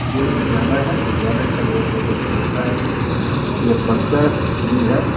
ये विद्यालय है। विद्यालय का लगता है कि ये है।